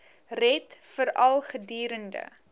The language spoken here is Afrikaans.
red veral gedurende